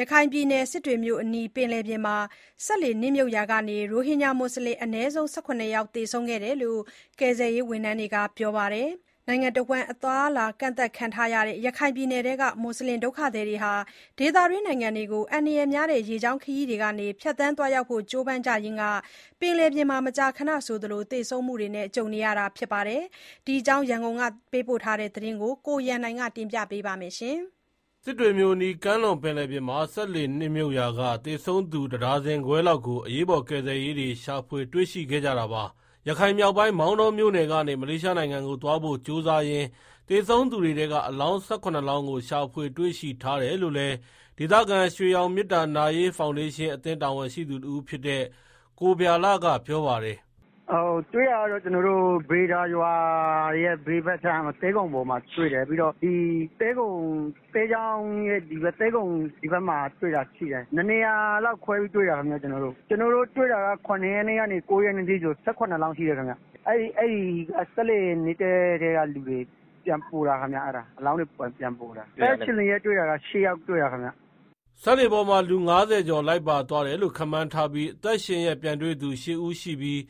ရခိုင်ပြည်နယ် စစ်တွေမြို့အနီး ပင်လယ်ပြင်မှာ စက်လှေနစ်မြုပ်ရာက ရိုဟင်ဂျာ မွတ်ဆလင် အနည်းဆုံး ၁၇ ယောက် သေဆုံးခဲ့ကြောင်း ကယ်ဆယ်ရေး ဝန်ထမ်းတွေက ပြောပါတယ်။ အသွားအလာကန့်သတ်ခံထားရတဲ့ ရခိုင်ပြည်နယ်က မွတ်ဆလင်ဒုက္ခသည်တွေဟာ ဒေသတွင်း နိုင်ငံတွေကို အန္တရာယ်များတဲ့ ရေကြောင်းခရီးကနေ ဖြတ်သန်းသွားရောက်ဖို့ ကြိုးပမ်းရင်း မကြာခဏသေဆုံးမှုတွေ ကြုံကြရတာပါ။ ဒီအကြောင်း ရန်ကုန်က သတင်းပေးပို့ထားတာကို ကိုရန်နိုင် တင်ပြပေးပါမယ်။ စစ်တွေမြို့အနီး ကမ်းလွန်ပင်လယ်ပြင်မှာ စက်လှေ နစ်မြုပ်ရာက သေဆုံးသူ ၁ ဒါဇင်ခွဲလောက်ကို အရေးပေါ် ကယ်ဆယ်ရေးတွေ ရှာဖွေတွေ့ရှိခဲ့ကြတာပါ။ ရခိုင်မြောက်ပိုင်း မောင်တောမြို့နယ်ကနေ မလေးရှားနိုင်ငံကို သွားဖို့ ကြိုးစားရင်း သေဆုံးသူတွေထဲက အလောင်း ၁၇ လောင်းကို ရှာဖွေတွေ့ရှိထားတယ်လို့လည်း ဒေသခံ ရွှေရောင်မေတ္တာ ဖောင်ဒေးရှင်း အသင်း တာဝန်ရှိသူတဦးဖြစ်တဲ့ ကိုဗျာလကပြောပါတယ်။ “ တွေ့တာကတော့ ကျနော်တို့ ဗေဒါရွာရဲ့ သဲခုံပေါ်မှာတွေ့တာ သဲချောင်းရဲ့ သဲခုံဖက်မှာတွေ့ တယ်။ နှစ်နေရာလောက် တွေ့တာခင်ဗျာ။ ကျနော်တို့ တွေ့တာက ၇ ရက်နေ့ကနေ ၉ရက်နေ့ထိဆိုရင် ၁၇ လောင်းရှိတယ်၊ စစ်လှေနစ်တဲ့ ထဲကလူတွေ ပြန်ပေါ်တာခင်ဗျာ အဲဒါ အလောင်းတွေ ပြန်ပေါ်တာ။ အသက်ရှင်လျက်တွေ့တာက ၈ ယောက်တွေ့တာခင်ဗျ။” စက်လှေပေါ်မှာ လူ ၅၀ ကျော် လိုက်ပါသွားတယ်လို့ ခန့်မှန်းထားပြီး အသက်ရှင်လျက် ပြန်တွေ့သူ ၈ ဦးရှိပြီး